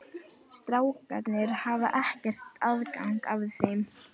Strákarnir hafa ekki aðgang að þeim?